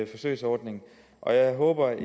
forsøgsordning og jeg håber at